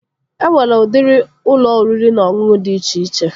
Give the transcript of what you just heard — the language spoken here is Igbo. E nwere udiri ụlọ oriri na ọṅụṅụ dị iche iche